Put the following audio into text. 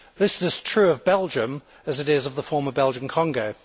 This is as true of Belgium as it is of the former Belgian Congo.